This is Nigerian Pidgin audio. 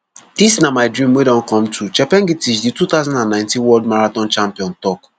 dis na my dream wey don come true chepngetich di two thousand and nineteen world marathon champion tok